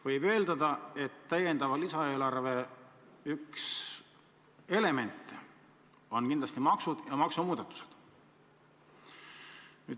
Võib eeldada, et üks täiendava lisaeelarve elemente on maksud ja maksumuudatused.